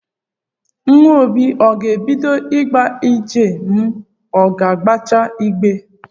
Nwa obi ọ ga-ebido ịga ije ma o gbechaa igbe